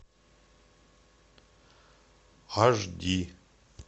аш ди